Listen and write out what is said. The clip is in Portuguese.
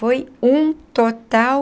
Foi um total